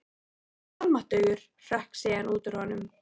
Guð minn almáttugur hrökk síðan út úr honum.